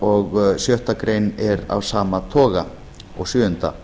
og sjöttu grein er af sama dag og sjöunda